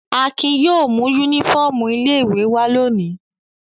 Akin yóò mú únífọ́ọ́mù ilé-ìwé wá lónìí.